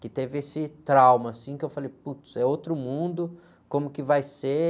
que teve esse trauma, assim, que eu falei, putz, é outro mundo, como que vai ser?